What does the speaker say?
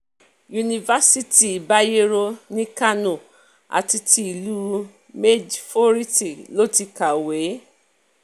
yunifásitì bayerno ní kánò àti ti ìlú maidforítì ló ti kàwé kàwé